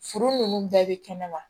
Furu nunnu bɛɛ be kɛnɛ ma